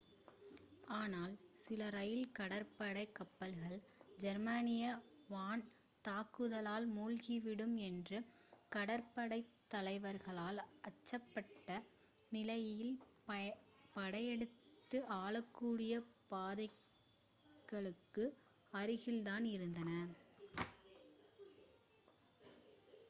ஆனால் சில ராயல் கடற்படை கப்பல்கள் ஜெர்மானிய வான் தாக்குதலால் மூழ்கிவிடும் என்று கடற்படைத்தலைவர்கள் அஞ்சப்பட்ட நிலையில் படையெடுப்புக்கு ஆளாகக்கூடியப் பாதைகளுக்கு அருகில் தான் இருந்தன